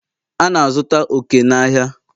A na-azụta oke n'ahịa ahịa